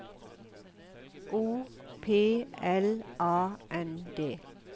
O P L A N D